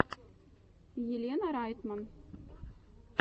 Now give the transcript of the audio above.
елена райтман